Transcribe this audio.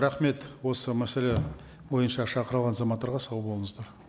рахмет осы мәселе бойынша шақырылған азаматтарға сау болыңыздар